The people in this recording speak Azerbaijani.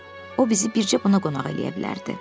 O bizi bircə buna qonaq eləyə bilərdi.